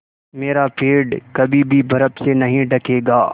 मेरा पेड़ कभी भी बर्फ़ से नहीं ढकेगा